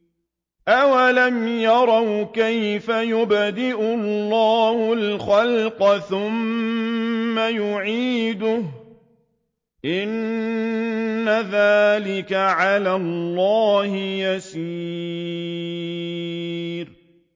أَوَلَمْ يَرَوْا كَيْفَ يُبْدِئُ اللَّهُ الْخَلْقَ ثُمَّ يُعِيدُهُ ۚ إِنَّ ذَٰلِكَ عَلَى اللَّهِ يَسِيرٌ